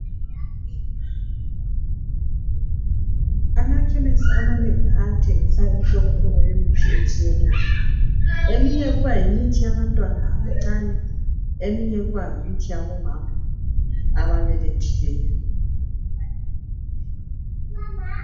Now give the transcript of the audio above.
Amakhemesi amanengi ayathengisa imihlobohlobo yemithi etshiyeneyo. Eminye kuba yimithi yabantwana abancane, eminye kuba yimithi yabomama ababelethileyo.